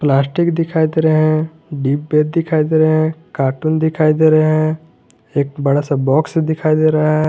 Plastic दिखाई दे रहे हैं डिब्बे दिखाई दे रहे हैं कार्टून दिखाई दे रहे हैं एक बड़ा सा बॉक्स दिखाई दे रहा है।